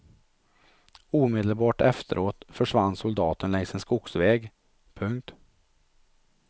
Omedelbart efteråt försvann soldaten längs en skogsväg. punkt